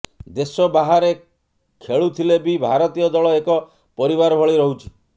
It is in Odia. ଦେଶ ବାହାରେ ଖେଳୁଥିଲେ ବି ଭାରତୀୟ ଦଳ ଏକ ପରିବାର ଭଳି ରହୁଛି